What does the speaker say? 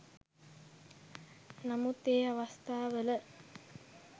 නමුත් ඒ අවස්ථාවල